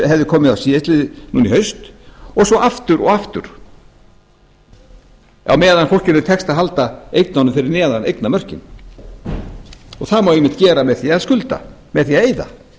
hefði komið núna í haust og svo aftur og aftur á meðan fólkinu tekst að halda eignunum fyrir neðan eignamörkin og það má einmitt gera með því að skulda með því að eyða þá vil ég